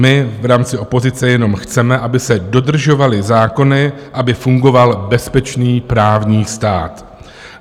My v rámci opozice jenom chceme, aby se dodržovaly zákony, aby fungoval bezpečný právní stát.